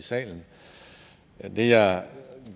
i salen det jeg